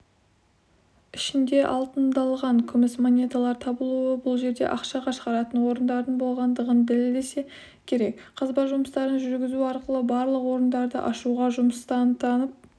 ішінде алтындалған күміс монеталар табылуы бұл жерде ақша шығаратын орынадардың болғандығын дәлелдесе керек қазба жұмыстарын жүргізу арқылы барлық орындарды ашуға жұмыстанып